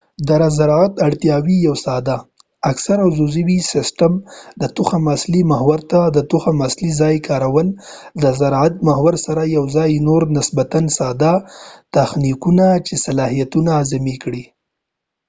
د زراعت اړتياوي یو ساده اکثرا عضوي سیسټم د تخم اصلي محور ته د تخم اصلي ځای کارول د زراعت محور سره یوځای یا نور نسبتا ساده تخنیکونه چې حاصلات اعظمي کړئ